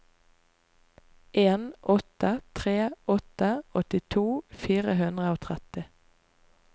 en åtte tre åtte åttito fire hundre og tretti